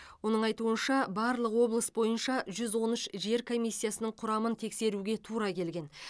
оның айтуынша барлық облыс бойынша жүз он үш жер комиссиясының құрамын тексеруге тура келген